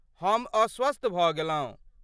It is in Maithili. हम अस्वस्थ भऽ गेलहुँ।